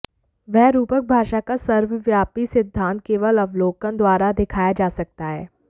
वह रूपक भाषा का सर्वव्यापी सिद्धांत केवल अवलोकन द्वारा दिखाया जा सकता है